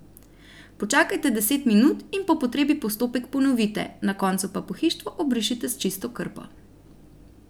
Počakajte deset minut in po potrebi postopek ponovite, na koncu pa pohištvo obrišite s čisto krpo.